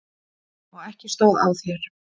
Og ekki stóð á þér!